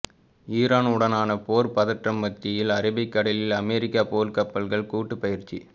Iran உடனான போர் பதற்றம் மத்தியில் அரபிக்கடலில் அமெரிக்க போர்க்கப்பல்கள் கூட்டுப் பயிற்சி